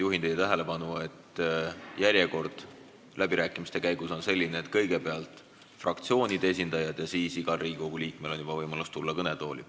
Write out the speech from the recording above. Juhin kõigi tähelepanu sellele, et läbirääkimiste käigus on kõnelejate järjekord selline, et kõigepealt on fraktsioonide esindajad ja pärast seda on igal Riigikogu liikmel võimalus tulla kõnetooli.